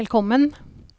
velkommen